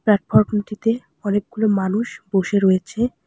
Platform -টিতে অনেকগুলো মানুষ বসে রয়েছে।